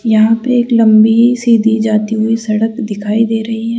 यहां पे एक लंबी सीधी जाती हुई सड़क दिखाई दे रही है।